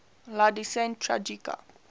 la decena tragica